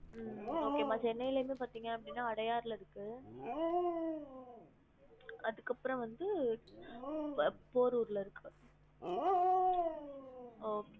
ஹம் okay மா சென்னைல இருந்து பாத்திங்க அப்டினா அடையார்ல இருக்கு அதுக்கு அப்ரோ வந்து போ∼போரூர் ல இருக்கு ஒ